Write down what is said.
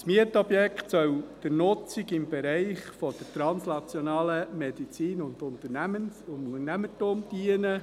Das Mietobjekt soll der Nutzung im Bereich translationale Medizin und Unternehmertum dienen.